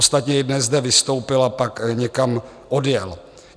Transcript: Ostatně i dnes zde vystoupil a pak někam odjel.